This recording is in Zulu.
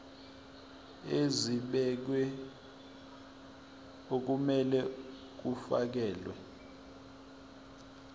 ezibekiwe okumele kufakelwe